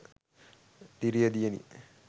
diriya diyani